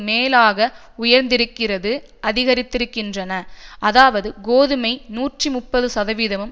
மேலாக உயர்ந்திருக்கிறது அதிகரித்திருக்கின்றன அதாவது கோதுமை நூற்றி முப்பது சதவீதமும்